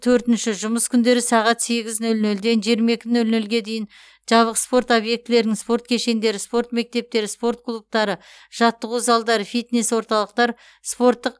төртінші жұмыс күндері сағат сегіз нөл нөлден жиырма екі нөл нөлге дейін жабық спорт объектілерінің спорт кешендері спорт мектептері спорт клубтары жаттығу залдары фитнес орталықтар спорттық